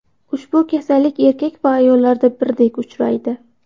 Ushbu kasallik erkak va ayollarda birdek uchraydi.